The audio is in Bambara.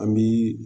An bi